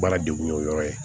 Baara degun ye o yɔrɔ ye